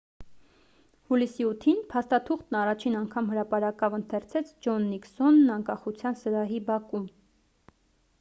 հուլիսի 8-ին փաստաթուղթն առաջին անգամ հրապարակավ ընթերցեց ջոն նիքսոնն անկախության սրահի բակում